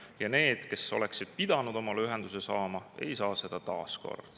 Ja need, kes oleksid pidanud omale ühenduse saama, ei saa seda taas.